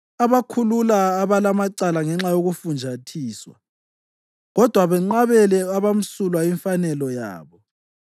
abakhulula abalamacala ngenxa yokufunjathiswa. Kodwa banqabele abamsulwa imfanelo yabo.